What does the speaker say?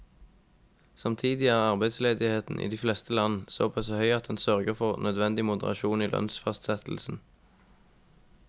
Samtidig er arbeidsledigheten i de fleste land såpass høy at den sørger for nødvendig moderasjon i lønnsfastsettelsen.